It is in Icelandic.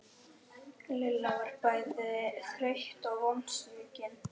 Lilla var bæði þreytt og vonsvikin.